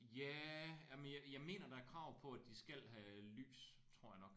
Ja jamen jeg jeg mener er krav på at de skal have lys tror jeg nok